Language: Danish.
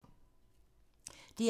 DR1